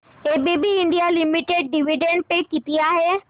ABB India limited dividend pay किती आहे